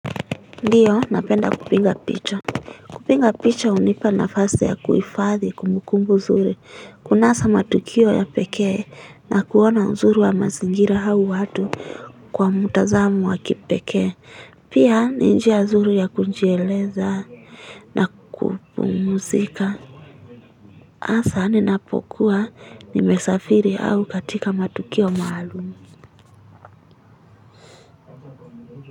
Ndiyo napenda kupiga picha. Kupiga picha hunipa nafasi ya kuhifadhi kumbukumbu nzuri kunasa matukio ya pekee na kuona uzuri wa mazingira au watu kwa mtazamo wa kipekee pia ni njia nzuri ya kujieleza na kupumzika hasa ninapokuwa nimesafiri au katika matukio maalum.